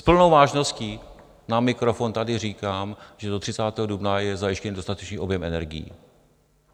S plnou vážností na mikrofon tady říkám, že do 30. dubna je zajištěn dostatečný objem energií.